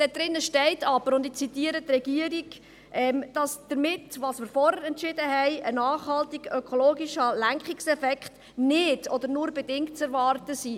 Darin steht aber, und ich zitiere die Regierung, dass mit dem, was wir vorhin entschieden haben, ein «nachhaltiger ökologischer Lenkungseffekt [...] nicht oder nur bedingt zu erwarten» sei.